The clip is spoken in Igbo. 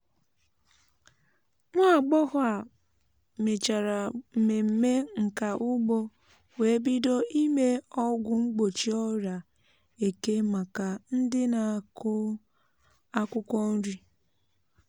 nwamgbọghọ á mechara mmemme nka ugbo wee bido ime ọgwụ mgbochi ọrịa eke maka ndị na-akụ akwụkwọ nri.